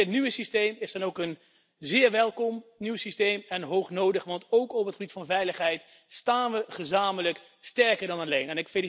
Dit nieuwe systeem is dan ook een zeer welkom nieuw systeem en hoognodig, want ook op het gebied van veiligheid staan we gezamenlijk sterker dan alleen.